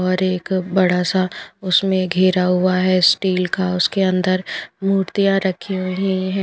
और एक बड़ा सा उसमें घेरा हुआ है स्टील का उसके अंदर मूर्तियाँ रखी हैं ।